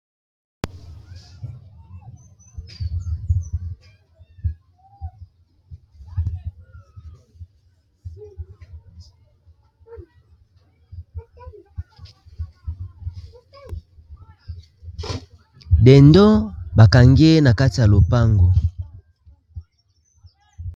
Dendo bakangi ye na kati ya lopango.